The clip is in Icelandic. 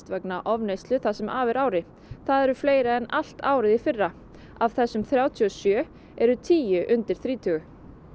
vegna ofneyslu það sem af er ári það eru fleiri en allt árið í fyrra af þessum þrjátíu og sjö eru tíu undir þrítugu